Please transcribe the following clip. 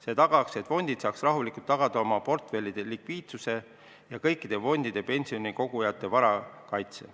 See garanteeriks, et fondid saaks rahulikult tagada oma portfellide likviidsuse ja kõikide fondide pensionikogujate vara kaitse.